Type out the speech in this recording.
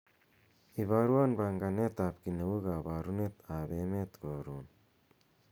iborwon panganet ab kiit neu koborunrt ab emet korun